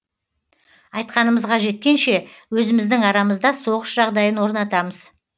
айтқанымызға жеткенше өзіміздің арамызда соғыс жағдайын орнатамыз